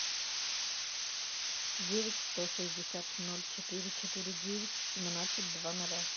девять сто шестьдесят ноль четыре четыре девять семнадцать два ноля